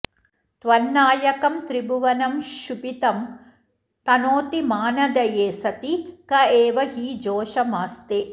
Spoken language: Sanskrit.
त्वन्नायकं त्रिभुवनं क्षुभितं तनोति मानधये सति क एव हि जोषमास्ते